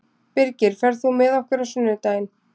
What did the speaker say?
Birgir, ferð þú með okkur á sunnudaginn?